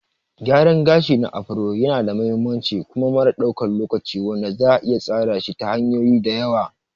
Gyaran gashin Afro yanada mahimmanci kuma mara ɗaukan lokaci wanda za'a iya tsara shi ta hanyoyi da yawa.